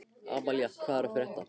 Amalía, hvað er að frétta?